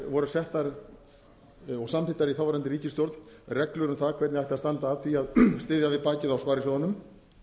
voru settar og samþykktar í þáverandi ríkisstjórn reglur um það hvernig ætti að standa að því að styðja við bakið á sparisjóðunum